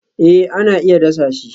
Eh ana iya dasa shi